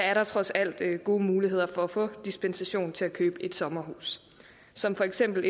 er der trods alt gode muligheder for at få dispensation til at købe sommerhus som for eksempel